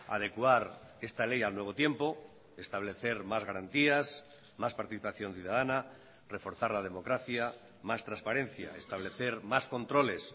adecuar esta ley al nuevo tiempo establecer más garantías más participación ciudadana reforzar la democracia más transparencia establecer más controles